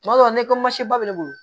Tuma dɔw la ne ko masinba bɛ ne bolo